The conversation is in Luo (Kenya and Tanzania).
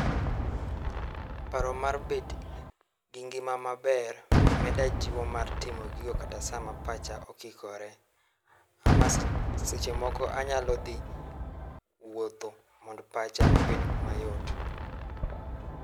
Paro mar bet gi ngima maber meda jiwo mar timo gigo kata sama pacha okikore. Ama seche moko anyalo dhi wuotho mondo pacha obed mayot.